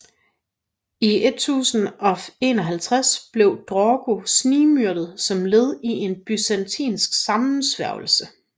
I 1051 blev Drogo snigmyrdet som led i en byzantinsk sammensværgelse